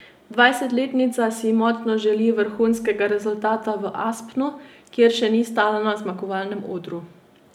Dvajsetletnica si močno želi vrhunskega rezultata v Aspnu, kjer še ni stala na zmagovalnem odru.